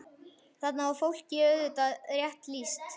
Þarna er fólki auðvitað rétt lýst.